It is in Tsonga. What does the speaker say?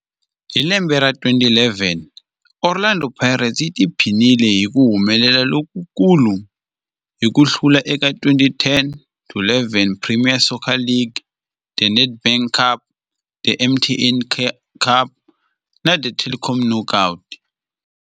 Hi lembe ra 2011, Orlando Pirates yi tiphinile hi ku humelela lokukulu hi ku hlula eka 2010-11 Premier Soccer League, The Nedbank Cup, The MTN 8 Cup na The Telkom Knockout.